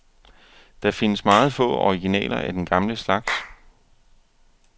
Der findes meget få originaler af den gamle slags.